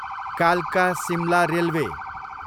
कालका, सिमला रेलवे